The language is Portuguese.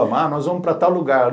Ah, nós vamos para tal lugar.